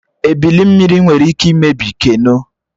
Ebili mmiri nwere ike imebi keno